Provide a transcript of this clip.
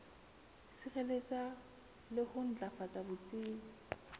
sireletsa le ho matlafatsa botsebi